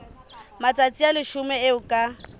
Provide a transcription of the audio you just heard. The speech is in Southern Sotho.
matsatsi a leshome eo ka